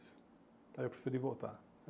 Então, eu preferi voltar.